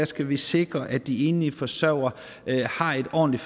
skal vi sikre at de enlige forsørgere har et ordentligt